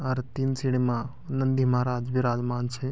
अर तीन सीडी मा नंदी महाराज विराजमान छे ।